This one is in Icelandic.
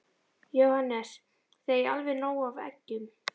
Jóhannes: Þið eigið alveg nóg af eggjum?